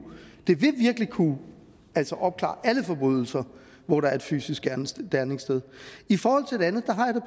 kunne opklare alle forbrydelser hvor der er et fysisk gerningssted gerningssted i forhold til det andet